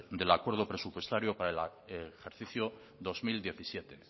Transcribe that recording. del acuerdo presupuestario para el ejercicio dos mil diecisiete